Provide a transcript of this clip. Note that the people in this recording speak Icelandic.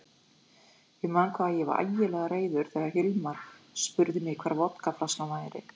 Ég man hvað ég varð ægilega reiður þegar Hilmar spurði mig hvar vodkaflaskan væri.